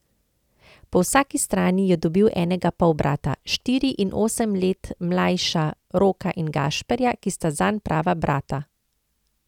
Po vsaki strani je dobil enega polbrata, štiri in osem leta mlajša Roka in Gašperja, ki sta zanj prava brata.